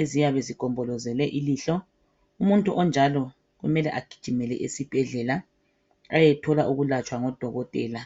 eziyabe zigombolozele ilihlo umuntu onjalo kumele egijimele esibhedlela ayethola ukulatshwa ngodokotela.